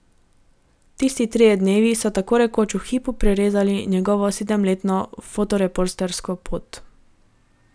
Tisti trije dnevi so tako rekoč v hipu prerezali njegovo sedemletno fotoreportersko pot.